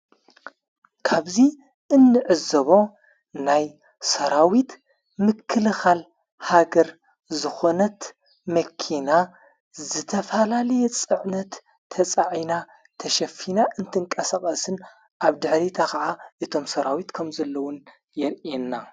ካብዙይ እንዕዘቦ ናይ ሰራዊት ምክልኻል ሃገር ዝኾነት መኪና ዝተፋላልየ ጽዕነት ተጻዒና ተሸፊና እንትንቀሰቓስን ኣብ ድኅሪታ ኸዓ እቶም ሠራዊት ከም ዘለዉን የርእየና።